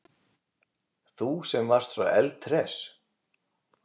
Þú sem varst svo eldhress.